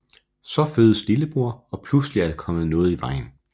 Så fødes lillebror og pludselig er der kommet noget i vejen